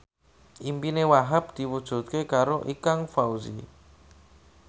impine Wahhab diwujudke karo Ikang Fawzi